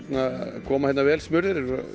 koma hérna vel smurðir þeir